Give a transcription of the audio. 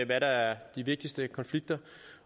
hvad der er de vigtigste konflikter